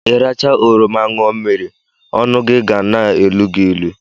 Ịracha oroma ñụọ mmiri ọnụ ga-na-elu gị ilu.